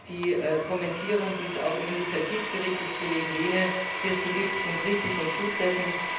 Ich denke, die Kommentierung, die es auch im Initiativbericht des Kollegen Lehne hierzu gibt, ist richtig und zutreffend.